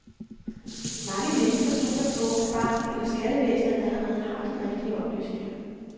Mange mennesker stoler på, at banken eller skattevæsenet allerede har de rigtige oplysninger.